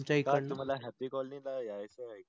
तुम्हाला happy colony ला यायचं आहे